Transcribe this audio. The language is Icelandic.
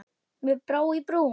Mér brá í brún.